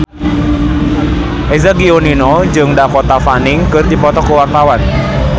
Eza Gionino jeung Dakota Fanning keur dipoto ku wartawan